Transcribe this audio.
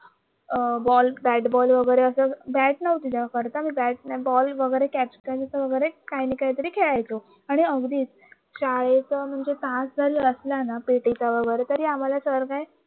अं ball bat ball वगैरे असायचा bat नव्हती तेव्हा खरंतर बोल वगैरे काय ना काहीतरी खेळायचं आणि अगदीच शाळेचा म्हणजे तास जरी असला ना पीटीचा वगैरे मला सर काय